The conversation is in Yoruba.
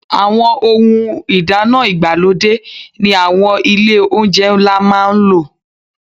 Àwọn ohun ìdáná ìgbàlódé ni àwọn ilé-oúnjẹ ńlá máa ń lò.